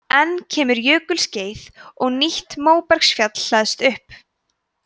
enn kemur jökulskeið og nýtt móbergsfjall hleðst upp